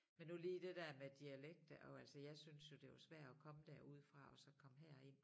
Men nu lige det der med dialekter og altså jeg syntes jo det var svært at komme derudefra og så komme herind